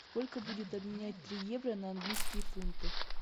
сколько будет обменять три евро на английские фунты